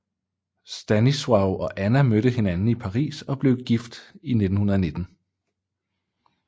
Stanisław og Anna mødte hinanden i Paris og blev gift i 1919